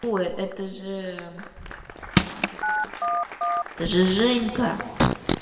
ой это же я забыла как её зовут это же женька